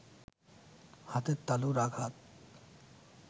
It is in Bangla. হাতের তালুর আঘাত